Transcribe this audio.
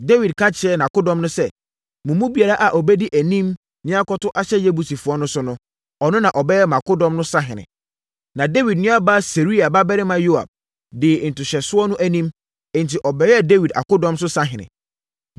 Dawid ka kyerɛɛ nʼakodɔm no sɛ, “Mo mu biara a ɔbɛdi anim na yɛakɔto ahyɛ Yebusifoɔ no so no, ɔno na ɔbɛyɛ mʼakodɔm so sahene.” Na Dawid nuabaa Seruia babarima Yoab dii ntohyɛsoɔ no anim, enti ɔbɛyɛɛ Dawid akodɔm so sahene.